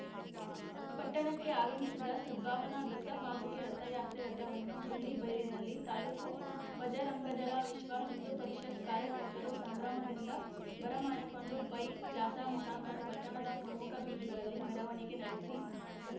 ಪಟ್ಟಣಕ್ಕೆ ಆಗಮಿಸಿದ ಸದ್ಭಾವನಾ ದತ್ತಪಾದುಕೆ ರಥಯಾತ್ರೆ ರಥವನ್ನು ಕೊಲ್ಲಿಬೈಲಿನಲ್ಲಿ ತಾಲೂಕು ಬಜರಂಗದಳ ವಿಶ್ವಹಿಂದೂ ಪರಿಷತ್ತು ಕಾರ್ಯಕರ್ತರು ಸಂಭ್ರಮದಿಂದ ಬರಮಾಡಿಕೊಂಡು ಬೈಕ್‌ ಜಾಥಾ ಮುಖಾಂತರ ಪಟ್ಟಣದ ಪ್ರಮುಖ ಬೀದಿಗಳಲ್ಲಿ ಮೆರವಣಿಗೆ ನಡೆಸಿ